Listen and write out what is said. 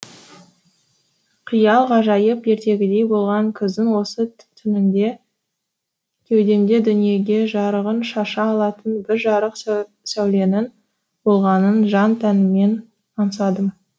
қиял ғажайып ертегідей болған күздің осы түнінде кеудемде дүниеге жарығын шаша алатын бір жарық сәуленің болғанын жан тәніммен аңсадым